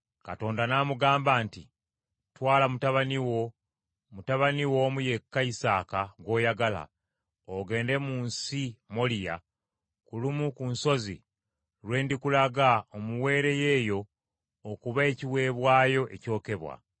Katonda n’amugamba nti, “Twala mutabani wo, mutabani wo omu yekka, Isaaka, gw’oyagala, ogende mu nsi Moliya ku lumu ku nsozi lwe ndikulaga omuweereyo eyo okuba ekiweebwayo ekyokebwa.”